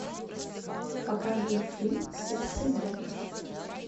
покажи фильм сердцеед